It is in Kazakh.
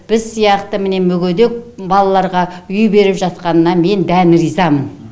біз сияқты міне мүгедек балаларға үй беріп жатқанына мен дән ризамын